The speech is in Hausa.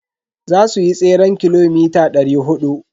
Za suyi tseren kilomita dari hudu.